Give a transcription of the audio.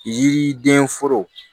Yiriden foro